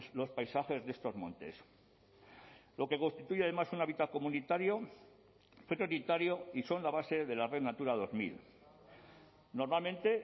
los paisajes de estos montes lo que constituye además un hábitat comunitario prioritario y son la base de la red natura dos mil normalmente